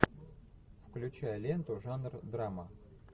включай ленту жанр драма